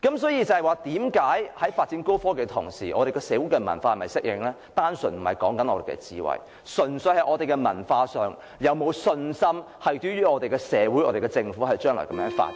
所以，為何在發展高科技的同時，我們的社會文化並不一定能適應，問題不是我們的智慧，而純粹是我們在文化上，對於我們的社會和政府將來這樣發展是否有信心？